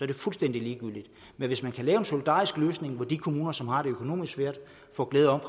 det fuldstændig ligegyldigt men hvis man kan lave en solidarisk løsning hvor de kommuner som har det økonomisk svært får glæde